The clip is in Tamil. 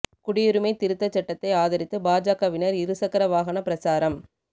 குடியுரிமை திருத்தச் சட்டத்தை ஆதரித்து பாஜகவினா் இரு சக்கர வாகன பிரசாரம்